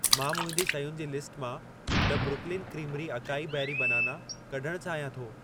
मां मुंहिंजी शयुनि जी लिस्ट मां the Brooklyn creamery acai berry banana कढण चाहियां थो।